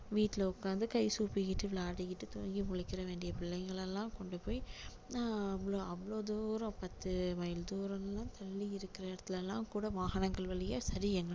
வீட்டுல உட்கார்ந்து கை சூப்பிகிட்டு விளையாடிட்டு தூங்கி முழிக்க வேண்டிய பிள்ளைங்களை எல்லாம் கொண்டு போய் ஆஹ் அவ்ளோ அவ்ளோ தூரம் பத்து மையில் தூரம் எல்லாம் தள்ளி இருக்கிற இடத்துல எல்லாம் கூட வாகனங்கள் வழியா சரி